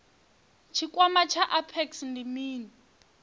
tshikwama tsha apex ndi mini